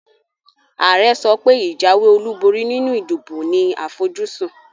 Àare sopé ìjáwé olúborí nínu ìdìbò ní àfojúsún